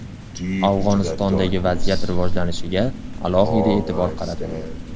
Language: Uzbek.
Afg‘onistondagi vaziyat rivojlanishiga alohida e’tibor qaratildi.